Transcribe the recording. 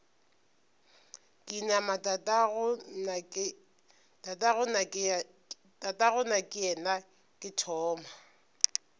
ka inama tatagonakeyena ke thoma